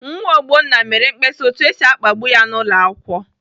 Nwa Ogbonna mere mkpesa otu esi akpagbu ya n'ụlọakwụkwọ.